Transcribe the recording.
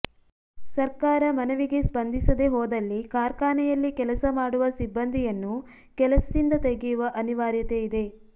ಸರ್ಕಾರ ಮನವಿಗೆ ಸ್ಪಂದಿಸದೆ ಹೋದಲ್ಲಿ ಕಾರ್ಖಾನೆಯಲ್ಲಿ ಕೆಲಸ ಮಾಡುವ ಸಿಬ್ಬಂದಿಯನ್ನು ಕೆಲಸದಿಂದ ತೆಗೆಯುವ ಅನಿವಾರ್ಯತೆಯಿದೆ